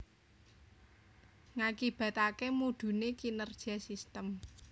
Ngakibataké mudhuné kinerja sistem